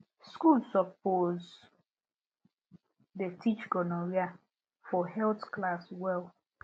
school suppose dey teach gonorrhea for health class well